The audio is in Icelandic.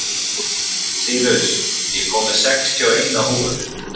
Sýrus, ég kom með sextíu og eina húfur!